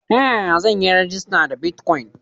Ta yaya zan yi rajista da bitcoin?